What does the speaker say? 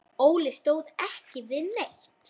Óli stóð ekki við neitt.